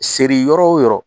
Seri yɔrɔ o yɔrɔ